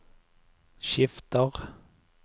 skifter